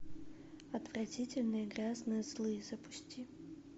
отвратительные грязные злые запусти